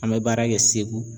An bɛ baara kɛ Segu